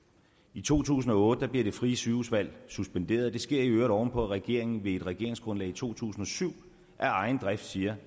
i to tusind og otte bliver det frie sygehusvalg suspenderet det sker i øvrigt oven på at regeringen ved et regeringsgrundlag i to tusind og syv af egen drift siger